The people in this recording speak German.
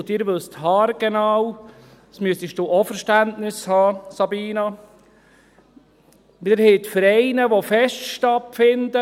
Und Sie wissen haargenau – dafür müsstest du auch Verständnis haben, Sabina Geissbühler: Wir haben die Vereine, bei denen Feste stattfinden.